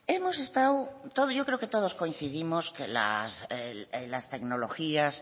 yo creo que todos coincidimos que las tecnologías